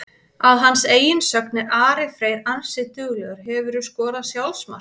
Að hans eigin sögn er Ari Freyr ansi duglegur Hefurðu skorað sjálfsmark?